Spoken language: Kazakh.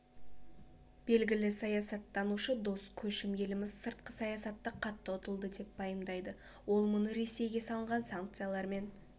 белгілі саясаттанушы дос көшім еліміз сыртқы саясатта қатты ұтылды деп пайымдайды ол мұны ресейге салынған санкциялармен